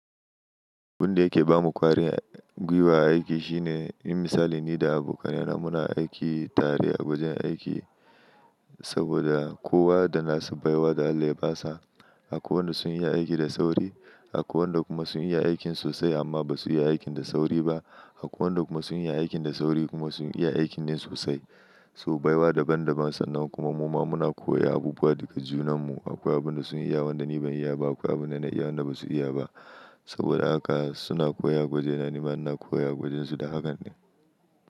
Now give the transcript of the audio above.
Abun da yake ba mu kwari gwuiwa aiki shine, in misali ni da abokanai na muna aiki tare a wajen aiki saboda kowa da nasa baiwa da Allah ya ba sa. Akwai wanda sun iya aiki da sauri, akwai wanda kuma sun iya aikin sosai, amma ba su iya aiki da sauri ba. Akwai wanda kuma sun iya aikin da sauri, kuma sun iya aikin ne sosai. So baiwa daban daban, san nan kuma muma muna koya abubuwa daga junan mu. Akwai abin da sun iya wanda ni ban iya ba, akwai abin da na iya wanda basu iya ba. Saboda haka suna koya a gwaje na, nima ina koya a gwajen su da hakan ne.